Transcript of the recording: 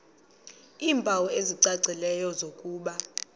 iimpawu ezicacileyo zokuba